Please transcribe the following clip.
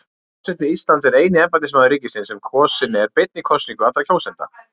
Forseti Íslands er eini embættismaður ríkisins sem kosinn er beinni kosningu allra kjósenda.